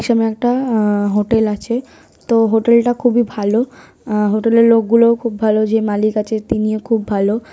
এইসামে একটা আ হোটেল আছে তো হোটেল -টা খুবই ভালো । আ হোটেল -এর লোক গুলো খুব ভালো যে মালিক আছে তিনিও খুব ভালো ।